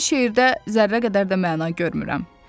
Mən şeirdə zərrə qədər də məna görmürəm.